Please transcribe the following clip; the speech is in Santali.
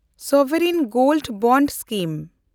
sovereign gold bond scheme